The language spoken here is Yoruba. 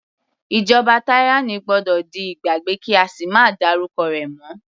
Ìjọba tyranny gbọ́dọ̀ di ìgbàgbé kí á sì máa dárúkọ rẹ̀ mọ́.